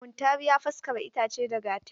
Muntari ya faskara itace da Gatari.